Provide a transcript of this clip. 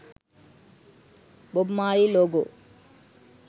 bob marley logo